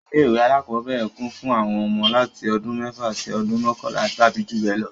Ilé ìwé alákọ́bẹ̀rẹ̀ kún fún àwọn ọmọ láti ọdún mẹ́fà sí ọdún mọkanla tàbí jù bẹ lọ